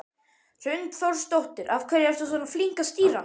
Hrund Þórsdóttir: Af hverju ertu svona flink að stýra?